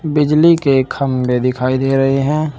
बिजली के खंभे दिखाई दे रहे हैं।